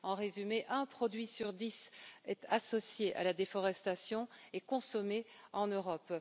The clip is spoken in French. En résumé, un produit sur 10 est associé à la déforestation et consommé en Europe.